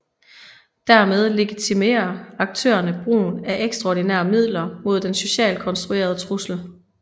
Dermed legitimerer aktørerne brugen af ekstraordinære midler mod den socialt konstruerede trussel